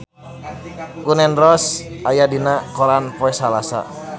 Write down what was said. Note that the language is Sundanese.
Gun N Roses aya dina koran poe Salasa